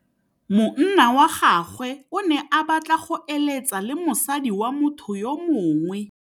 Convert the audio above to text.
Monna wa gagwe o ne a batla go êlêtsa le mosadi wa motho yo mongwe.